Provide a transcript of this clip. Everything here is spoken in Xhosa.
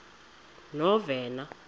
novena